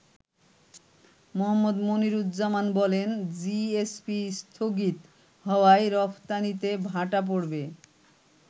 মোহাম্মদ মনিরুজ্জামান বলেন, “জিএসপি স্থগিত হওয়ায় রফতানিতে ভাটা পড়বে।